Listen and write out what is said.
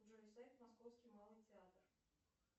джой сайт московский малый театр